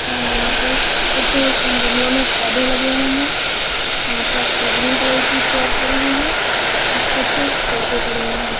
यहां पर कुछ गमलों में पौधे लगे हुए हैं यहां पर सी ग्रीन कलर की चेयर पड़ी हुई है और कुछ सोफे पड़े हुए हैं।